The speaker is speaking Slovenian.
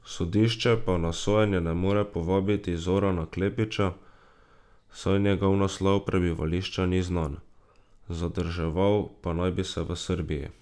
Sodišče pa na sojenje ne more povabiti Zorana Klepića, saj njegov naslov prebivališča ni znan, zadrževal pa naj bi se v Srbiji.